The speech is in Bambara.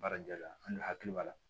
Baara ja la an ni hakili b'a la